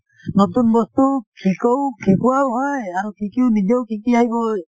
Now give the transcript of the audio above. নতুন বস্তু সিকৌ শিকোৱাও হয় আৰু শিকিও নিজেও শিকি আহিবই